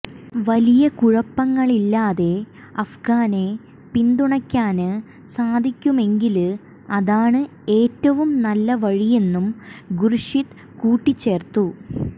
വലിയ കുഴപ്പങ്ങളില്ലാതെ അഫ്ഗാനെ പിന്തുണയ്ക്കാന് സാധിക്കുമെങ്കില് അതാണ് ഏറ്റവും നല്ലവഴിയെന്നും ഖുര്ഷിദ് കൂട്ടിച്ചേര്ത്തു